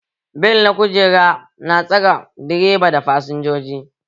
Bel na kujera na tsare direba da fasinjoji